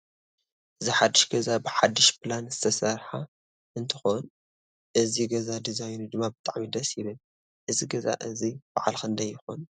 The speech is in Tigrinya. እዚ ሓዱሽ ገዛ ብሓዱሽ ፕላን ዝተሰርሓ እንትኮን እዚ ገዛ ዲዛይኑ ድማ ብጣዕሚ ደስ ይብል። እዚ ገዛ እዚ በዓል ክንደይ ይኮን?